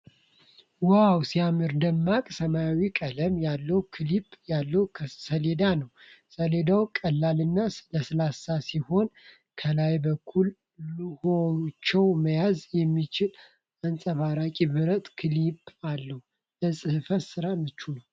ዋው ሲያምር! ደማቅ ሰማያዊ ቀለም ያለው ክሊፕ ያለው ሰሌዳ ነው። ሰሌዳው ቀላልና ለስላሳ ሲሆን፣ ከላይ በኩል ሉሆችን መያዝ የሚችል አንጸባራቂ ብረት ክሊፕ አለው። ለጽህፈት ስራ ምቹ ነው።